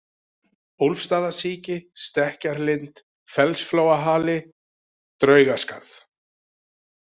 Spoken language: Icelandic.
Úlfsstaðasíki, Stekkjarlind, Fellsflóahali, Draugaskarð